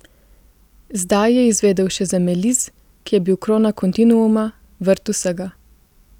Zdaj je izvedel še za Meliz, ki je bil krona kontinuuma, vrt Vsega.